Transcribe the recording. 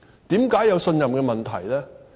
為何有信任問題？